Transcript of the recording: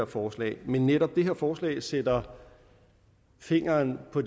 forslag men netop det her forslag sætter fingeren på